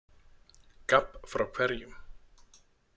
Gabb frá hverjum?